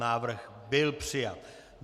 Návrh byl přijat.